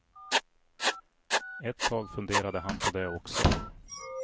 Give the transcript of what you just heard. Ett tag funderade han på det också.